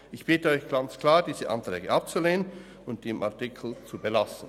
Ich bitte Sie ganz klar, diese Anträge abzulehnen und den Artikel zu belassen.